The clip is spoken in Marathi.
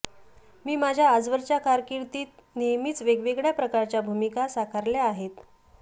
मी माझ्या आजवरच्या कारकिर्दीत नेहमीच वेगवेगळ्या प्रकारच्या भूमिका साकारल्या आहेत